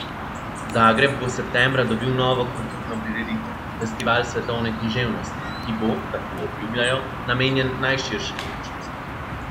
Zagreb bo septembra dobil novo kulturno prireditev, Festival svetovne književnosti, ki bo, tako obljubljajo, namenjen najširšemu občinstvu.